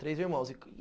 Três irmãos.